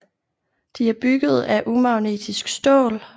De er bygget af umagnetisk stål